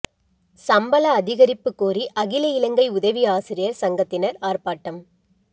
சம்பள அதிகரிப்பு கோரி அகில இலங்கை உதவி ஆசிரியர் சங்கத்தினர் ஆர்ப்பாட்டம்